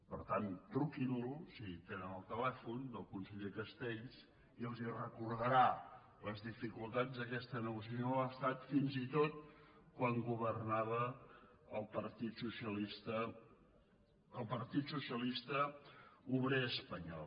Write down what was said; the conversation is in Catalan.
per tant truquinlo si tenen el telèfon del conseller castells i els recordarà les dificultats d’aquesta negociació amb l’estat fins i tot quan governava el partit socialista obrer espanyol